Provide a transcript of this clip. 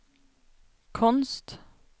konst